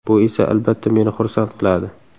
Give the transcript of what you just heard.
Bu esa, albatta, meni xursand qiladi.